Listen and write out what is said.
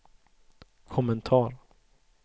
kommentar